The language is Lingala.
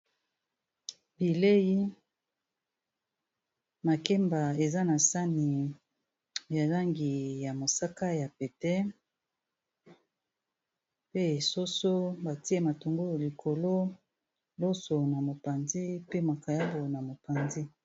bilei makemba eza na sani ya zangi ya mosaka ya pete pe esoso batie matongoo likolo loso na mopanzi pe makayabo na mopanzi